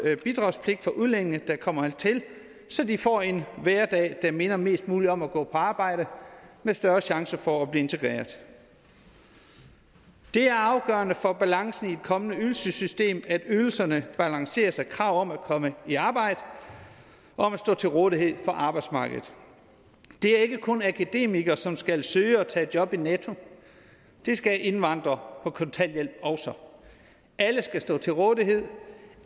bidragspligt for udlændinge der kommer hertil så de får en hverdag der minder mest muligt om det at gå på arbejde med større chance for at blive integreret det er afgørende for balancen i et kommende ydelsessystem at ydelserne balanceres af krav om at komme i arbejde og om at stå til rådighed for arbejdsmarkedet det er ikke kun akademikere som skal søge og tage job i netto det skal indvandrere på kontanthjælp også alle skal stå til rådighed